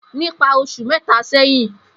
Nipa osu meta seyin.